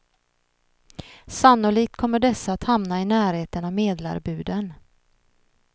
Sannolikt kommer dessa att hamna i närheten av medlarbuden.